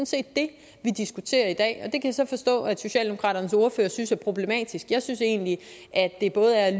set det vi diskuterer i dag det jeg så forstå at socialdemokraternes ordfører synes er problematisk jeg synes egentlig at det både er at